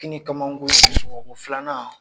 kinikamako sɔgɔko s filanan.